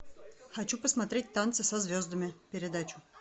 хочу посмотреть танцы со звездами передачу